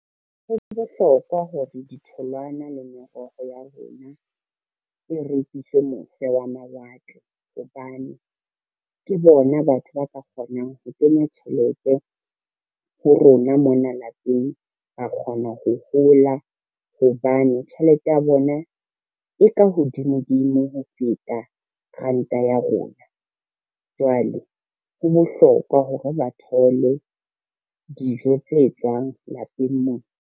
Ho bohlokwa hore ditholwana le meroho ya rona e rekiswe mose wa mawatle, hobane ke bona batho ba ka kgonang ho kenya tjhelete ho rona mona lapeng, ra kgona ho hola hobane tjhelete ya bona e ka hodimo dimo ho feta ranta ya rona. Jwale ho bohlokwa hore ba thole dijo tse tswang lapeng mona.